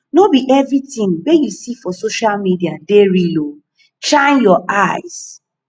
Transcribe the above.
no be everytin wey you see for social media dey real o shine your eyes